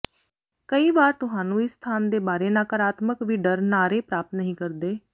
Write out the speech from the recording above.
ਕਈ ਵਾਰ ਤੁਹਾਨੂੰ ਇਸ ਸਥਾਨ ਦੇ ਬਾਰੇ ਨਕਾਰਾਤਮਕ ਵੀ ਡਰ ਨਾਅਰੇ ਪ੍ਰਾਪਤ ਨਹੀ ਕਰਦੇ